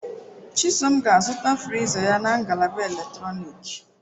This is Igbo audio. Chisom ga-azụta friza ya na ngalaba eletrọnịkị.